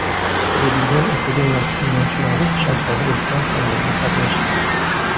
Prezident akademiyasi tinglovchilari Shanxayda o‘tgan tadbirda qatnashdi.